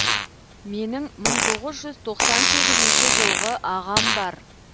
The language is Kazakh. менің мың тоғыз жүз тоқсан сегізінші жылғы ағам бар